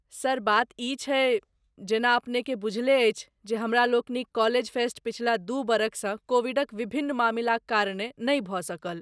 Sir, बात ई छै, जेना अपनेकेँ बुझले अछि जे हमरालोकनिक कॉलेज फेस्ट पछिला दू बरखसँ कोविडक विभिन्न मामिलाक कारणेँ नहि भऽ सकल।